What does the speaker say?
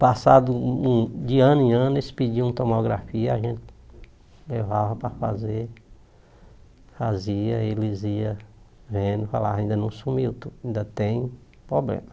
Passado um um de ano em ano, eles pediam tomografia, a gente levava para fazer, fazia, eles iam vendo, falavam, ainda não sumiu, ainda tem problema.